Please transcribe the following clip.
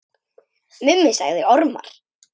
Mummi sagði ormar.